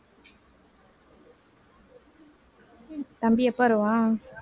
தம்பி எப்ப வருவான்